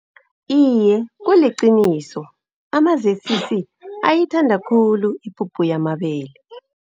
Iye, kuliqiniso. Ama-Z_C_C ayithanda khulu ipuphu yamabele.